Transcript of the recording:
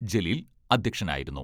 Jaleel അദ്ധ്യക്ഷനായിരുന്നു.